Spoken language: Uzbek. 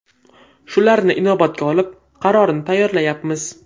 Shularni inobatga olib, qarorni tayyorlayapmiz.